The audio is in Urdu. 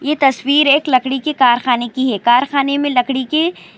صویر ایک کارخانے کی اور کارخانے میں لکڑی.